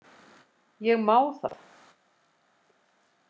Ég má það.